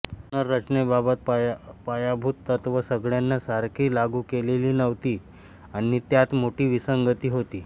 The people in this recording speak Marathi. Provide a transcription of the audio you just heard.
पुनर्रचनेबाबत पायाभूत तत्त्व सगळ्यांना सारखी लागू केलेली नव्हती आणि त्यात मोठी विसंगती होती